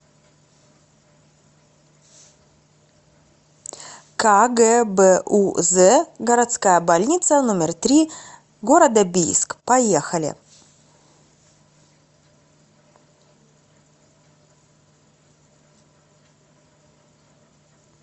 кгбуз городская больница номер три г бийск поехали